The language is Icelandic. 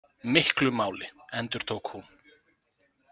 Miklu máli, endurtók hún.